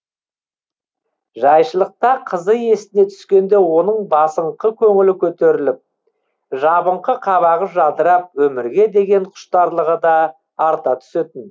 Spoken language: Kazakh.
жайшылықта қызы есіне түскенде оның басыңқы көңілі көтеріліп жабыңқы қабағы жадырап өмірге деген құштарлығы да арта түсетін